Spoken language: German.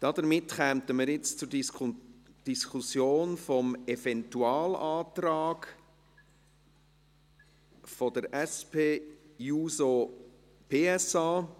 Damit kommen wir nun zur Diskussion des Eventualantrags der SP-JUSO-PSA.